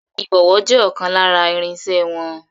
Ìbọ̀wọ́ je ọkàn lára irinsẹ́ wọn.